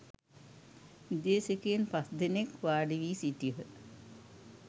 විදේශිකයින් පස් දෙනෙක් වාඩි වී සිටියහ.